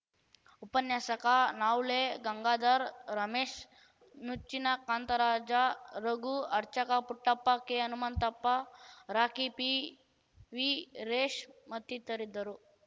ಉಪನ್ಯಾಸಕ ನವುಲೆ ಗಂಗಾಧರ್ ರಮೇಶ್ ನುಚ್ಚಿನ ಕಾಂತರಾಜ ರಘು ಅರ್ಚಕ ಪುಟ್ಟಪ್ಪ ಕೆಹನುಮಂತಪ್ಪ ರಾಕಿ ಪಿವೀರೇಶ್ ಮತ್ತಿತರಿದ್ದರು